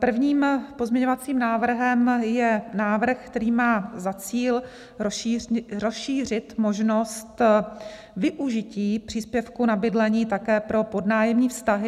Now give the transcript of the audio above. Prvním pozměňovacím návrhem je návrh, který má za cíl rozšířit možnost využití příspěvku na bydlení také pro podnájemní vztahy.